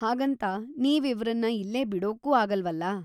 ಹಾಗಂತ, ನೀವ್ ಇವ್ರನ್ನ ಇಲ್ಲೇ ಬಿಡೋಕೂ ಆಗಲ್ವಲ.